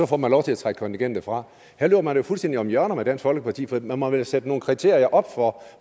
får man lov til at trække kontingentet fra her løber man jo fuldstændig om hjørner med dansk folkeparti for man må vel sætte nogle kriterier op for